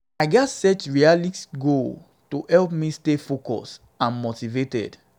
um i i gats set realistic goals to help me stay focused and motivated.